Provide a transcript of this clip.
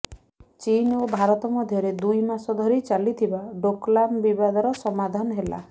ଚୀନ ଓ ଭାରତ ମଧ୍ୟରେ ଦୁଇ ମାସ ଧରି ଚାଲିଥିବା ଡୋକଲାମ ବିବାଦର ସମାଧାନ ହେଲା